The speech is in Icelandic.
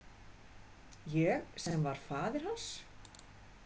Ég sem var faðir hans.